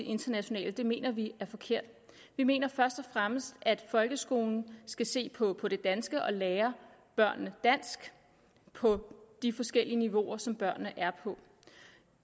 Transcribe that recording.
internationalt mener vi er forkert vi mener først og fremmest at folkeskolen skal se på på det danske og lære børnene dansk på de forskellige niveauer som børnene er på